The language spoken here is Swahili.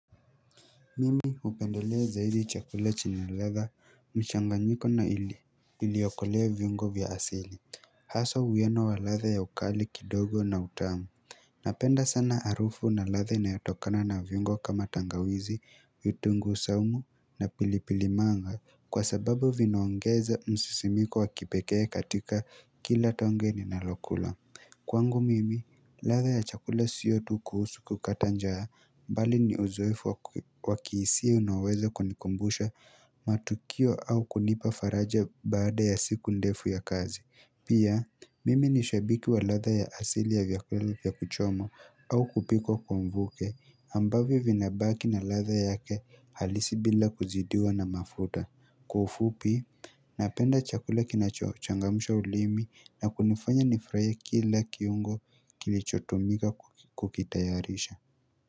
Mimi upendelea zaidi chakula chenye ladha mchanganyiko na ili okolea viungo vya asili Haswa huwiano wa latha ya ukali kidogo na utamu Napenda sana arufu na ladha ina yotokana na viungo kama tangawizi vitunguu saumu na pilipilimanga Kwa sababu vinaongeza msisimiko wakipekee katika kila tonge ni nalokula Kwangu mimi, ladha ya chakula siyo tu kuhusu kukatanjaa bali ni uzoefu wakiisia unaoweza kunikumbusha matukio au kunipa faraja baada ya siku ndefu ya kazi. Pia, mimi nishabiki wa ladha ya asili ya vyakula vya kuchoma au kupikwa kwa mvuke ambavyo vinabaki na ladha yake halisi bila kuzidiwa na mafuta. Kwa ufupi Napenda chakula kinachochangamsha ulimi na kunifanya nifraya kila kiungo kilichotumika kukitayarisha.